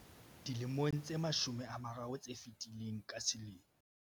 Dilemong tse mashome a mararo tse fetileng, ka selemo.